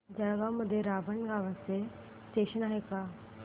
जळगाव मध्ये रावेर नावाचं स्टेशन आहे का